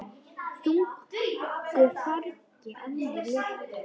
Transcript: Þungu fargi af mér létt.